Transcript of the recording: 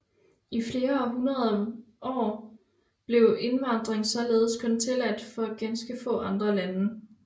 I flere hundrede år blev indvandring således kun tilladt fra ganske få andre lande